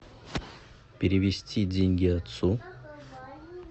перевести деньги отцу